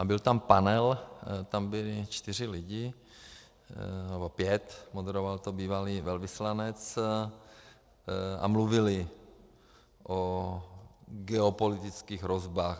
A byl tam panel, tam byli čtyři lidé nebo pět, moderoval to bývalý velvyslanec a mluvili o geopolitických hrozbách.